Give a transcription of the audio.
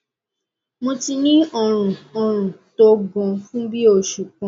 mo ti ní ọrùn ọrùn tó gan fún bí i oṣù kan